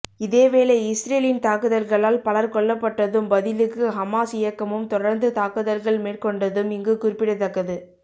இதேவேளை இஸ்ரேலின் தாக்குதல்களால் பலர் கொல்லப்பட்டதும் பதிலுக்கு ஹமாஸ் இயக்கமும் தொடர்ந்து தாக்குதல்கள் மேற்கொண்டதும் இங்கு குறிப்பிடத்தக்கது